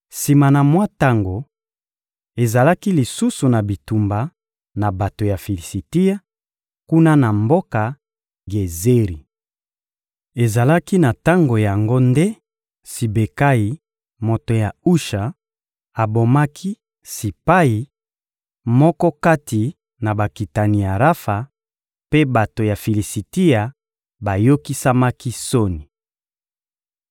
Sima na mwa tango, ezalaki lisusu na bitumba na bato ya Filisitia, kuna na mboka Gezeri. Ezalaki na tango yango nde Sibekayi, moto ya Usha, abomaki Sipayi, moko kati na bakitani ya Rafa; mpe bato ya Filisitia bayokisamaki soni.